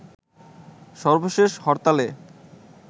সর্বশেষ হরতালে